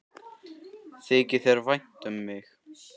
Þykir þér þá vænt um mig?